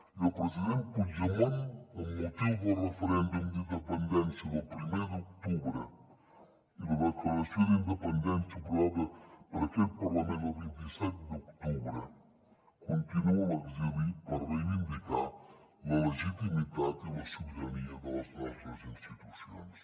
i el president puigdemont amb motiu del referèndum d’independència del primer d’octubre i la declaració d’independència aprovada per aquest parlament el vint set d’octubre continua a l’exili per reivindicar la legitimitat i la sobirania de les nostres institucions